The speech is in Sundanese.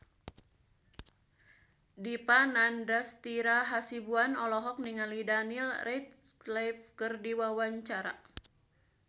Dipa Nandastyra Hasibuan olohok ningali Daniel Radcliffe keur diwawancara